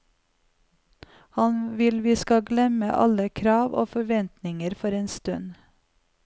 Han vil vi skal glemme alle krav og forventninger for en stund.